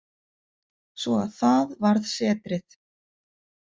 Svo að það varð setrið.